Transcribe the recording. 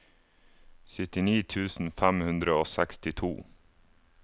syttini tusen fem hundre og sekstito